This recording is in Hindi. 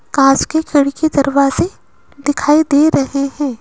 कांच की खिड़की दरवाजे दिखाई दे रहे हैं।